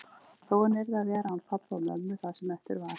Þó hann yrði að vera án pabba og mömmu það sem eftir var.